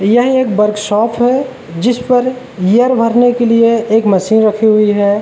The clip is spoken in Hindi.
यहीं एक वर्कशॉप है जिस पर ईयर भरने के लिए एक मशीन राखी हुई है।